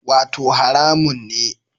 Wato haramun ne